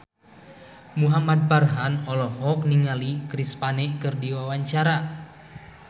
Muhamad Farhan olohok ningali Chris Pane keur diwawancara